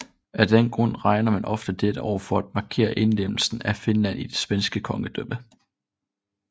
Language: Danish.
Af den grund regner man ofte dette år for at markere indlemmelsen af Finland i det svenske kongedømme